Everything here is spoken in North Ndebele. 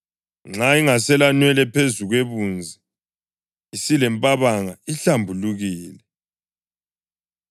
Nxa ingaselanwele phezu kwebunzi, isilempabanga ihlambulukile.